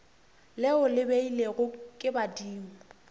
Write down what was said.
leo le beilwego ke badimo